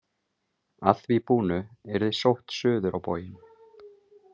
Að því búnu yrði sótt suður á bóginn.